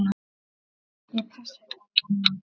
Ég passa upp á mömmu.